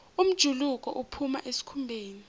umjuluko uphuma esikhumbeni